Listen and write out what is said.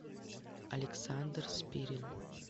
александр спирин